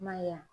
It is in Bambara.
I ma ye wa